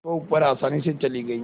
वह ऊपर आसानी से चली गई